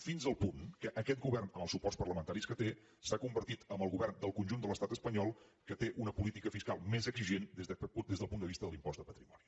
fins al punt que aquest govern amb els suports parlamentaris que té s’ha convertit en el govern del conjunt de l’estat espanyol que té una política fiscal més exigent des del punt de vista de l’impost de patrimoni